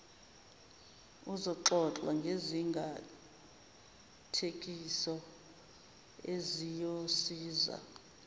uzoxoxa ngezingathekiso eziyosiza